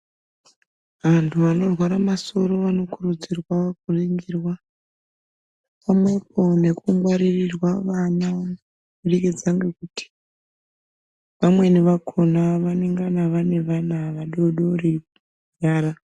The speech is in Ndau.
Antu anorware masoro vanokurudzirwa kuringirwa pamwepo nekungwaririrwa vana kubudikidza ngekuti vamweni vakhona vanengana vane vana vadodori kubara.